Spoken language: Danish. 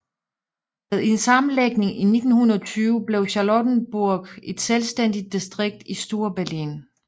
Ved en sammenlægning i 1920 blev Charlottenburg et selvstændigt distrikt i Storberlin